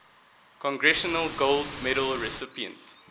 congressional gold medal recipients